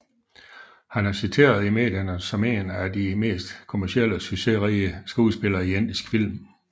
Han er citeret i medierne som en af de mest kommercielt succesrige skuespillere i indisk film